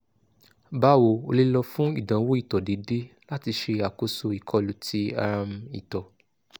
bawo o le lọ fun idanwo ito deede lati ṣe akoso ikolu ti um ito